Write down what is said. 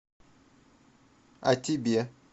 а тебе